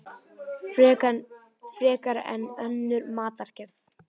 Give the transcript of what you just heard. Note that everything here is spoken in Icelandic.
Frekar en önnur matargerð.